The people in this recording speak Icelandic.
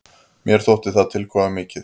Mér þótti það tilkomumikið.